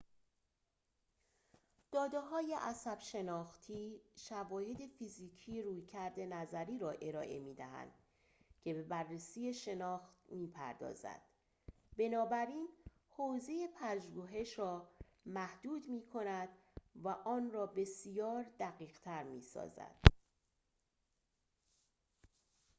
داده‌های عصب‌شناختی شواهد فیزیکی رویکردی نظری را ارائه می‌دهند که به بررسی شناخت می‌پردازد بنابراین حوزه پژوهش را محدود می‌کند و آن را بسیار دقیق‌تر می‌سازد